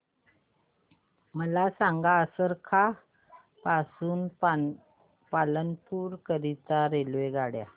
मला सांगा असरवा पासून पालनपुर करीता रेल्वेगाड्या